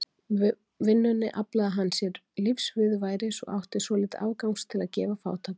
Með vinnunni aflaði hann sér lífsviðurværis og átti svolítið afgangs til að gefa fátækum.